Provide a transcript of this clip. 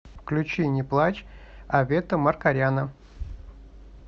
включи не плачь авета маркаряна